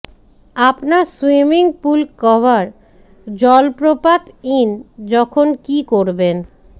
আপনার swimming pool cover জলপ্রপাত ইন যখন কি করবেন